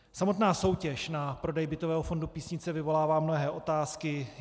Samotná soutěž na prodej bytového fondu Písnice vyvolává mnohé otázky.